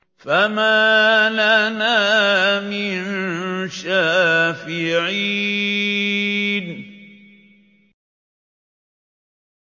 فَمَا لَنَا مِن شَافِعِينَ